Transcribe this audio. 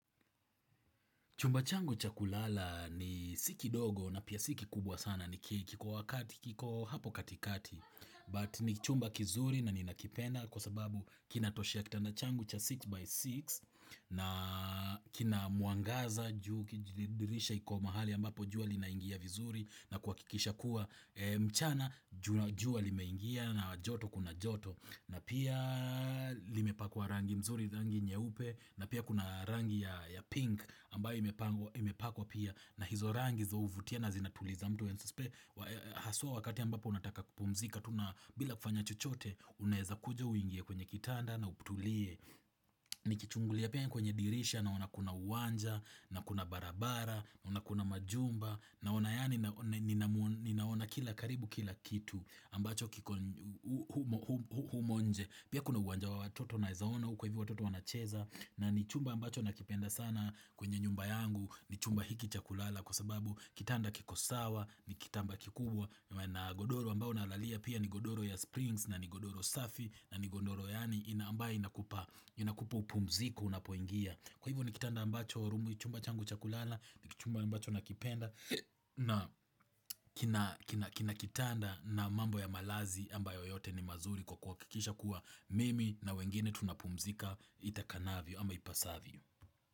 Chumba changu cha kulala ni, si kidogo na pia si kikubwa sana, kiko hapo katikati. But ni chumba kizuri na ninakipenda kwa sababu kinatoshea kitanda changu cha 6 by 6 na kina mwangaza ju dirisha iko mahali ambapo jua linaingia vizuri na kuhakikisha kuwa mchana jua limeingia na joto kuna joto. Na pia limepakwa rangi mzuri, rangi nyeupe, na pia kuna rangi ya pink ambayo imepakwa pia. Na hizo rangi hizo huvutia na zinatuliza mtu haswa wakati ambapo unataka kupumzika, tu na bila kufanya chochote, unaweza kuja uingie kwenye kitanda na utulie Nikichungulia pia kwenye dirisha naona kuna uwanja, na kuna barabara, na kuna majumba Naona yaani, ninaona kila, karibu kila kitu ambacho kiko humo nje. Pia kuna uwanja wa watoto naweza ona huko hivyo watoto wanacheza, na ni chumba ambacho nakipenda sana kwenye nyumba yangu. Ni chumba hiki cha kulala kwa sababu kitanda kiko sawa. Ni kitanda kikubwa, na godoro ambao nalalia pia ni godoro ya springs, na ni godoro safi, na ni godoro yaani ambayo inakupa, inakupa upumziko unapoingia. Kwa hivyo ni kitanda ambacho, chumba changu cha kulala ni chumba ambacho nakipenda. Na kina kitanda na mambo ya malazi ambayo yote ni mazuri kwa kuhakikisha kuwa mimi na wengine tunapumzika itakanavyo ama ipasavyo.